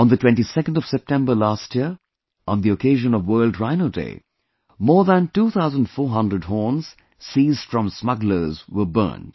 On the 22nd of September last year, on the occasion of World Rhino Day, more than 2400 horns seized from smugglers were burnt